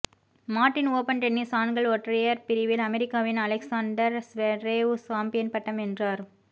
Martin open tennis ஆண்கள் ஒற்றையர் பிரிவில் அமெரிக்காவின்அலெக்ஸண்டர் ஸ்வேரேவ் சாம்பியன் பட்டம் வென்றார்